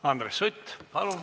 Andres Sutt, palun!